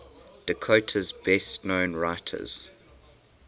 dakota's best known writers